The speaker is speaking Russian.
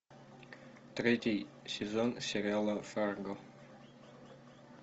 третий сезон сериала фарго